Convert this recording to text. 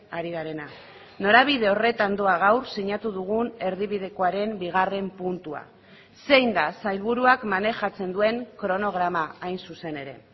ari garena norabide horretan doa gaur sinatu dugun erdibidekoaren bigarren puntua zein da sailburuak manejatzen duen kronograma hain zuzen ere